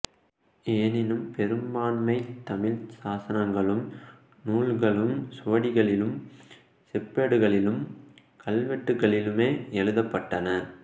எனினும் பெரும்பான்மைத் தமிழ் சாசனங்களும் நூல்களும் சுவடிகளிலும் செப்பேடுகளிலும் கல்வெட்டுக்களிலுமே எழுதப்படன